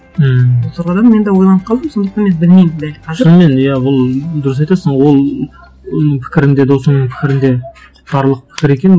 ммм содан мен де ойланып қалдым сондықтан мен білмеймін дәл қазір шынымен иә ол дұрыс айтасың ол м пікірінде досыңның пікірінде тұр екен